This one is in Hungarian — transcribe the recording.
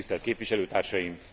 Tisztelt képviselőtársaim!